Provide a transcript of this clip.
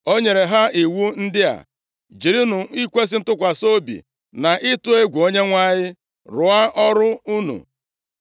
O nyere ha iwu ndị a, “Jirinụ ikwesi ntụkwasị obi, na ịtụ egwu Onyenwe anyị rụọ ọrụ unu.